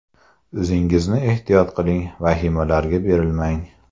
O‘zingizni ehtiyot qiling, vahimalarga berilmang.